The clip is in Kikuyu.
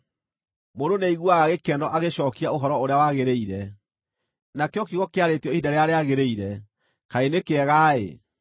Mũndũ nĩaiguaga gĩkeno agĩcookia ũhoro ũrĩa wagĩrĩire, nakĩo kiugo kĩarĩtio ihinda rĩrĩa rĩagĩrĩire, kaĩ nĩ kĩega-ĩ!